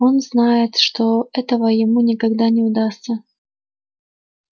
он знает что этого ему никогда не удастся